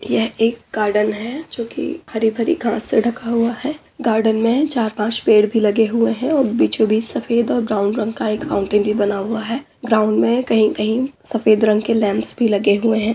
यह एक गॉर्डन है जो कि हरी-भरी घास से ढका हुआ हैं। गार्डन में चार-पांच पेड़ भी लगे हुए हैं और बीचो -बीच सफ़ेद और ब्राउन रंग का माउंटेन भी बना हुआ है। ग्राउंड में कही-कहीं सफ़ेद रंग के लैम्प्स भी लगे हुए हैं।